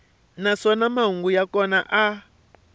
naswona mahungu ya kona a